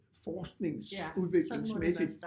Forsknings udviklingsmæssigt